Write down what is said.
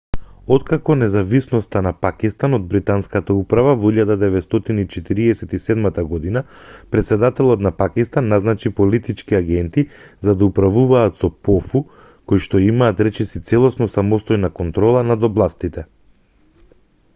откако независноста на пакистан од британската управа во 1947 година претседателот на пакистан назначи политички агенти за да управуваат со пофу коишто имаат речиси целосно самостојна контрола над областите